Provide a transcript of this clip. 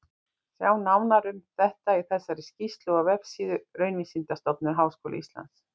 Sjá nánar um þetta í þessari skýrslu á vefsíðu Raunvísindastofnunar Háskólans.